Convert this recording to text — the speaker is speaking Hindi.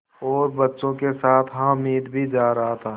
और बच्चों के साथ हामिद भी जा रहा था